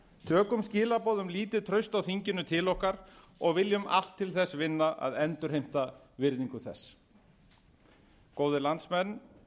tökum skilaboð um lítið traust á þinginu til okkar og viljum allt til þess vilja að endurheimta virðingu þess góðir landsmenn